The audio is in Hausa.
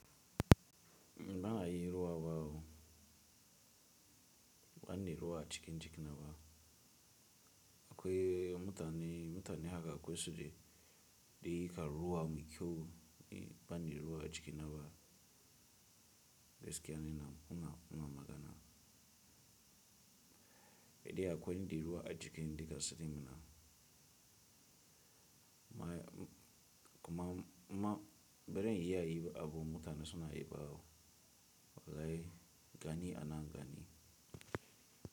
Ba'a yin ruwa ba o, ba nida ruwa a cikin jikina ba. Akwai mutane, mutane haka akwai su dai, da yika ruwa mai kyau, ba nida ruwa a jikina ba. Gaskiya ne ina, ina, ina magana. Eh akwai in da ruwa a jikin dukansu dinnan. Ma kuma ma, bazan iya yi abun mutane suna yi ba o, wallahi gani a nan gani.